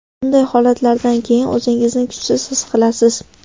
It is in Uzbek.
Bunday holatlardan keyin o‘zingizni kuchsiz his qilasiz.